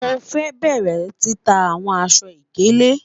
Mo fẹ bẹrẹ tita awọn aṣọ-ikele